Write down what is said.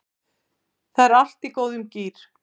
Það er allt í góðum gír